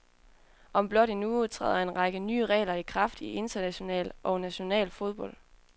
Om blot en uge træder en række nye regler i kraft i international og national fodbold.